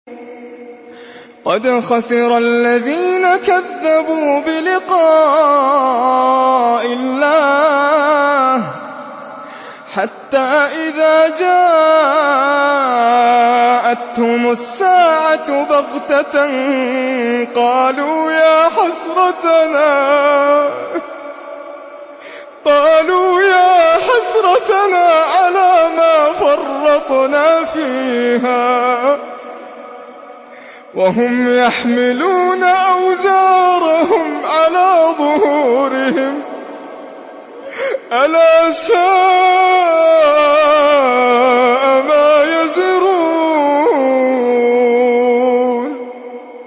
قَدْ خَسِرَ الَّذِينَ كَذَّبُوا بِلِقَاءِ اللَّهِ ۖ حَتَّىٰ إِذَا جَاءَتْهُمُ السَّاعَةُ بَغْتَةً قَالُوا يَا حَسْرَتَنَا عَلَىٰ مَا فَرَّطْنَا فِيهَا وَهُمْ يَحْمِلُونَ أَوْزَارَهُمْ عَلَىٰ ظُهُورِهِمْ ۚ أَلَا سَاءَ مَا يَزِرُونَ